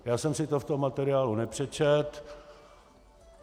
Já jsem si to v tom materiálu nepřečetl.